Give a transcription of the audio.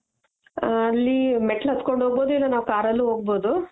ಅಲ್ಲಿ ಮೆಟ್ಲು ಹತ್ಕೊಂಡು ಹೊಗ್ಬವ್ದು ಇಲ್ಲ ನಾವ್ car ಅಲ್ಲು ಹೊಗ್ಬವ್ದು .